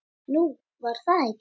Nú, var það ekki?